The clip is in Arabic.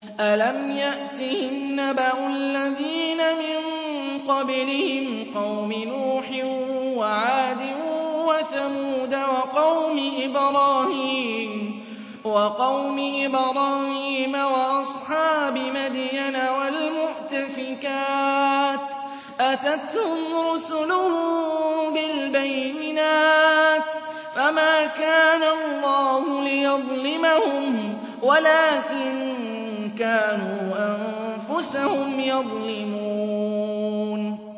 أَلَمْ يَأْتِهِمْ نَبَأُ الَّذِينَ مِن قَبْلِهِمْ قَوْمِ نُوحٍ وَعَادٍ وَثَمُودَ وَقَوْمِ إِبْرَاهِيمَ وَأَصْحَابِ مَدْيَنَ وَالْمُؤْتَفِكَاتِ ۚ أَتَتْهُمْ رُسُلُهُم بِالْبَيِّنَاتِ ۖ فَمَا كَانَ اللَّهُ لِيَظْلِمَهُمْ وَلَٰكِن كَانُوا أَنفُسَهُمْ يَظْلِمُونَ